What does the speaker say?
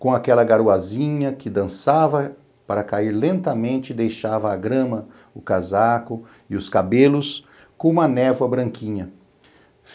com aquela garoazinha que dançava para cair lentamente e deixava a grama, o casaco e os cabelos com uma névoa branquinha.